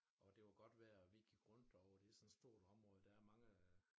Og det var godt vejr og vi gik rundt derovre det sådan et stort område der mange øh